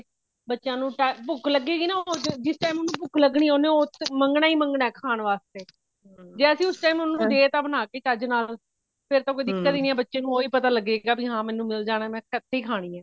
ਬੱਚਿਆ ਨੂੰ ਭੁੱਖ ਲਗੇਗੀ ਨਾ or ਜਿਸ time ਉਹਨੂੰ ਭੁੱਖ ਲਗਣੀ ਐ ਉਹਨੇ ਮੰਗਣਾ ਹੀ ਮੰਗਣਾ ਐ ਖਾਨ ਵਾਸਤੇ ਜੇ ਅਸੀਂ ਉਸ time ਉਹਨੂੰ ਦੇ ਤਾ ਬਣਾਕੇ ਚੱਜ ਨਾਲ ਫੇਰ ਤਾਂ ਕੋਈ ਨਹੀਂ ਬੱਚੇ ਨੂੰ ਉਹੀ ਪਤਾ ਲਗੇਗਾ ਵੀ ਹਾਂ ਮੈਨੂੰ ਮਿਲ ਜਾਣਾ ਮੈਂ ਇੱਥੇ ਹੀ ਖਾਣੀ ਐ